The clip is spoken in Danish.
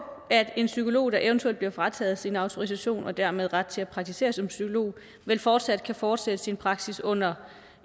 at en psykolog der eventuelt bliver frataget sin autorisation og dermed sin ret til at praktisere som psykolog vel fortsat kan fortsætte sin praksis under